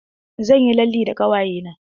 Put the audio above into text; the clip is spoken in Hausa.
Zan yi lalle da ƙawaye na.